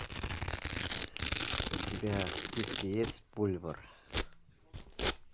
у тебя в списке есть пульвор